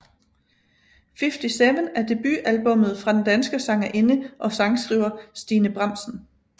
Fiftyseven er debutalbumet fra den danske sangerinde og sangskriver Stine Bramsen